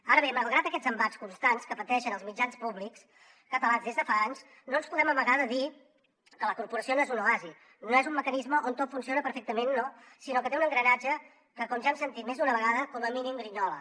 ara bé malgrat aquests embats constants que pateixen els mitjans públics catalans des de fa anys no ens podem amagar de dir que la corporació no és un oasi no és un mecanisme on tot funciona perfectament no sinó que té un engranatge que com ja hem sentit més d’una vegada com a mínim grinyola